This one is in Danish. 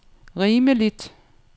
rimeligt